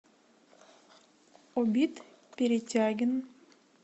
убит перетягин